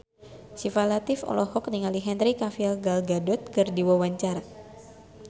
Syifa Latief olohok ningali Henry Cavill Gal Gadot keur diwawancara